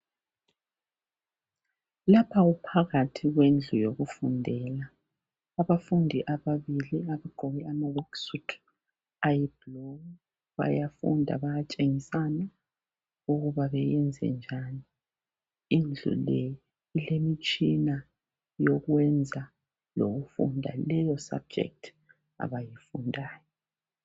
Lapha kuphakhathi kwendlu yokufundela. Abafundi ababili abagqoke amawekisutu ayibhulu bayafunda bayatshengisana ukuba beyenze njani. Indlu le ilemitshina yokwenza lokufunda leyo sabhujekiti abayifundayo.